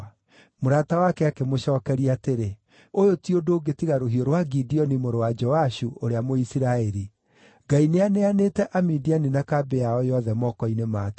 Mũrata wake akĩmũcookeria atĩrĩ, “Ũyũ ti ũndũ ũngĩ tiga rũhiũ rwa Gideoni mũrũ wa Joashu, ũrĩa Mũisiraeli. Ngai nĩaneanĩte Amidiani na kambĩ yao yothe moko-inĩ make.”